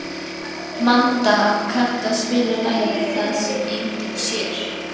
Manda, kanntu að spila lagið „Það sem enginn sér“?